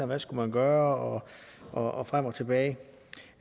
man skulle gøre og frem og tilbage